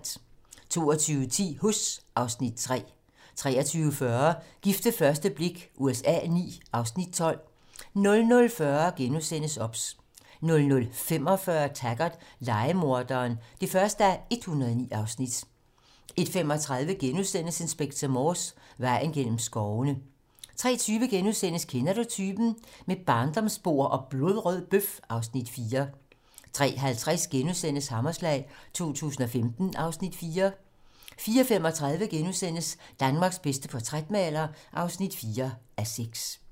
22:10: Huss (Afs. 3) 23:40: Gift ved første blik USA IX (Afs. 12) 00:40: OBS * 00:45: Taggart: Lejemorderen (1:109) 01:35: Inspector Morse: Vejen gennem skovene * 03:20: Kender du typen? - Med barndomsbord og blodrød bøf (Afs. 4)* 03:50: Hammerslag 2015 (Afs. 4)* 04:35: Danmarks bedste portrætmaler (4:6)*